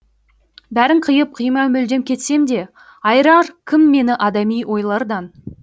бәрін қиып қимай мүлдем кетсем де айырар кім мені адами ойлардан